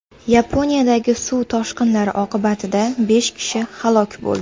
Yaponiyadagi suv toshqinlari oqibatida besh kishi halok bo‘ldi.